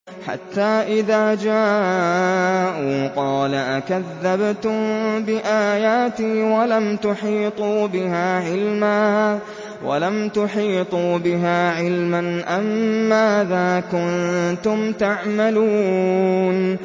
حَتَّىٰ إِذَا جَاءُوا قَالَ أَكَذَّبْتُم بِآيَاتِي وَلَمْ تُحِيطُوا بِهَا عِلْمًا أَمَّاذَا كُنتُمْ تَعْمَلُونَ